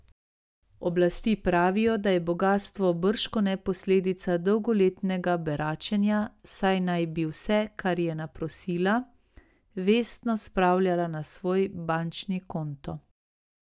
Oblasti pravijo, da je bogastvo bržkone posledica dolgoletnega beračenja, saj naj bi vse, kar je naprosila, vestno spravljala na svoj bančni konto.